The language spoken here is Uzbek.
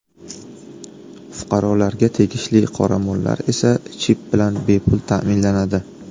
Fuqarolarga tegishli qoramollar esa chip bilan bepul ta’minlanadi.